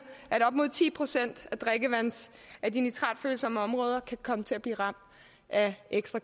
at op mod ti procent af de nitratfølsomme områder kan komme til at blive ramt af ekstra